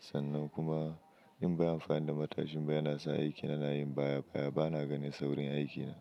Sannan kuma in bai amfani da matashin ba yana sa aikin yana yin baya baya, ba na ganin saurin aikin.